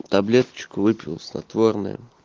таблеточку выпил снотворное